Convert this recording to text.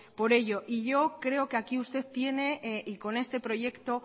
por ello y yo creo que aquí usted tiene y con este proyecto